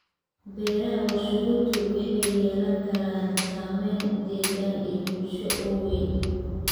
Beeraha warshaduhu waxay yeelan karaan saamayn deegaan iyo bulsho oo weyn.